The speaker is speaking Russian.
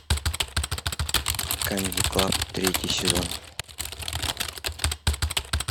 камеди клаб третий сезон